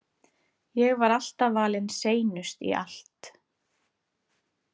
Ég var alltaf valin seinust í allt.